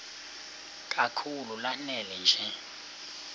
kakhulu lanela nje